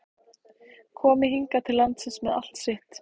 Komi hingað til lands með allt sitt?